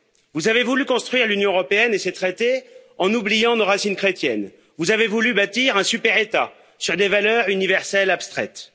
Vous avez voulu construire l'Union européenne et ses traités en oubliant nos racines chrétiennes. Vous avez voulu bâtir un super État sur des valeurs universelles abstraites.